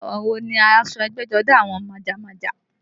Àwọ̀ wo ni aṣọ ẹgbẹ́jọdá àwọn májámájá?